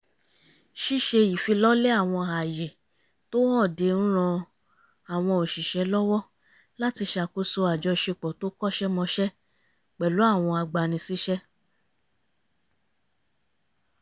ṣíṣe ìfilọ́lẹ̀ àwọn ààyè tó hànde ń ran àwọn òṣìṣẹ́ lọ́wọ́ láti ṣàkóṣo àjọṣepọ̀ tó kọ́ṣẹ́mọṣẹ́ pẹ̀lú àwọn agbani síṣẹ́